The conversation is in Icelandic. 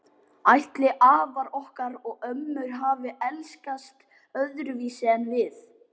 Ætli afar okkar og ömmur hafi elskast öðruvísi en við?